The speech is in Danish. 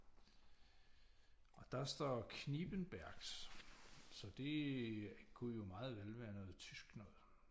Og der står Knippenbergs så det kunne jo meget vel være noget tysk noget